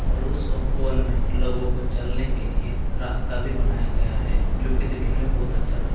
और उस उपवन में लोगों को चलने के लिए रास्ता भी बनाया गया है जो की देखने में बहुत अच्छा लग --